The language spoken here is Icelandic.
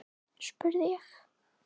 spurði ég.